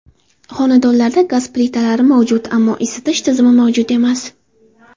Xonadonlarda gaz plitalari mavjud, ammo isitish tizimi mavjud emas.